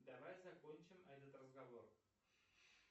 давай закончим этот разговор